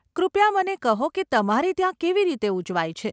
કૃપયા મને કહો કે તમારે ત્યાં કેવી રીતે ઉજવાય છે?